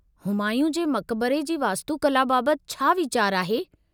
हुमायूं जे मक़बरे जी वास्तुकला बाबति छा वीचारु आहे?